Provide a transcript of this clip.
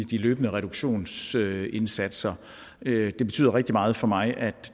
de løbende reduktionsindsatser det betyder rigtig meget for mig at